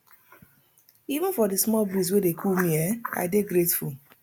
even for di small breeze wey dey cool me um i dey grateful